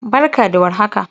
Barka da warhaka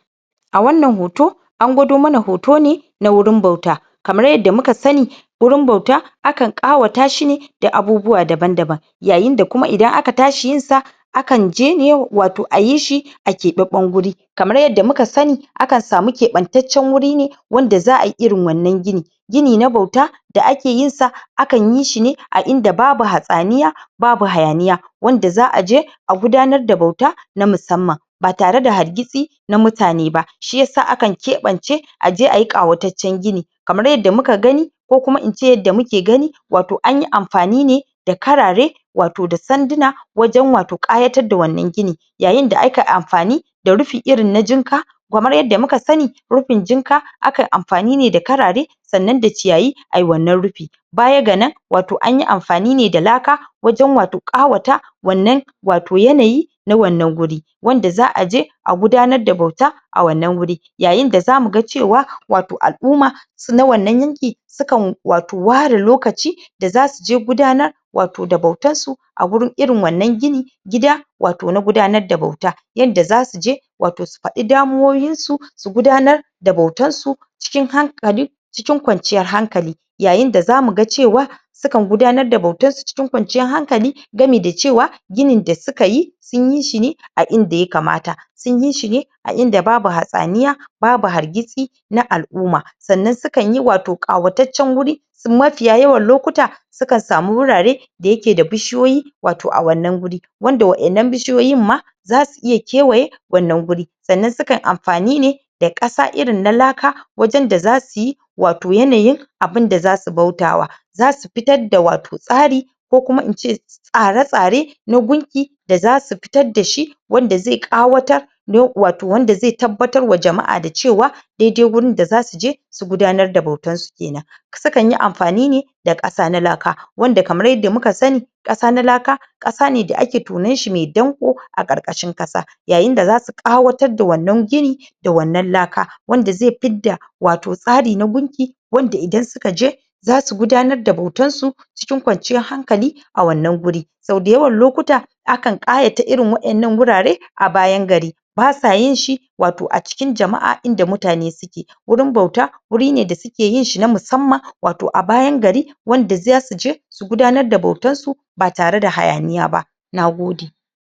a wannan hoto an gwado mana hoto ne na wurin bauta kamar yadda muka sani wurin bauta akan ƙawata shine da abubuwa daban-daban yayinda kuma idan aka tashi yinsa akan je yau, wato ayi shi a keɓaɓɓen guri kamar yadda muka sani akan samu keɓantaccen wuri ne wanda za ai irin wannan gini gini na bauta da ake yinsa akan yishine a inda babu hatsaniya babu hayaniya wanda za aje a gudanar da bauta na musamman batare da hargitsi na mutane ba shiyasa akan keɓance aje ayi ƙawataccen gini kamar yadda muka gani ko kuma ince yadda muke gani wato anyi amfani ne da karare wato da sanduna wajen wato ƙayatar da wannan gini yayin da aka amfani da rufi irin na jinka kamar yadda muka sani rufin jinka akan amfani ne da karare sannan da ciyayi ai wannan rufi bayaga nan wato anyi amfani ne da laka waje wato ƙawata wannan wato yanayi na wannan guri wanda za aje a gudanar da bauta a wannan wuri yayinda zamuga cewa wato al'umma s?na wannan yanki sukan wato ware lokaci da zasuje gudanar wato da bautar su a gurin irin wannan gini gida wato na gudanar da bauta yanda zasuje wato su faɗi damuwoyinsu su gudanar da bautarsu cikin hankali cikin kwanciyar hankali yayin da zamuga cewa sukan gudanar da bautarsu cikin kwanciyar hankali gami da cewa ginin da sukayi sun yishine a inda ya kamata sun yishi ne a inda babu hatsaniya babu hargitsi na al'uma sannan sukanyi wato ƙawataccen wuri mafiya yawan lokuta sukan samu wurare da yake da bishiyoyi wato a wannan wuri wanda waƴannan bishiyoyin ma zasu iya kewaye wannan wuri sannan sukan amfani ne da ƙasa irin na laka wajen da zasuyi wato yanayin abinda zasu bautawa zasu fitar da wato tsari ko kuma ince tsare-tsare na gunki da zasu fitar dashi wanda zai ƙawatar? wato wanda zai tabbatarwa da jama'a wato cewa dai-dai gurin da zasuje su gudanar da bautarsu kenan sukanyi amfani ne da ƙasa na laka wanda kamar yadda muka sani ƙasa na laka ƙasa ne da ake tonanshi me danƙo a ƙarƙashin ƙasa yayinda zasu ƙawatar da wannan gini da wannan laka wanda zai fidda wato tsari na gunki wanda idan sukaje zasu gudanar da bautarsu cikin kwanciyar hankali a wannan guri sau dayawan lokuta akan ƙayata irin waƴannan wurare a bayan gari basa yinshi wato a cikin jama'a, inda mutane suke gurin bauta wuri ne da suke yinshi na musamman wato a bayan gari wanda zasuje su gudanar da bautarsu batare da hayaniya ba nagode